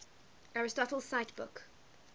aristotle cite book